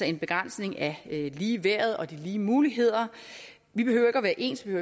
en begrænsning af ligeværdet og de lige muligheder vi behøver ikke at være ens vi